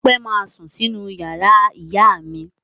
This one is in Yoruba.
Ọpẹ́ ma sún sínú ìyàrá ìyá mi.